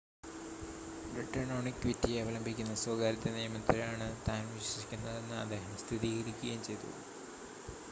return on equity അവലംബിക്കുന്ന സ്വകാര്യത നിയമത്തിലാണ് താൻ വിശ്വസിക്കുന്നതെന്ന് അദ്ദേഹം സ്ഥിരീകരിക്കുകയും ചെയ്തു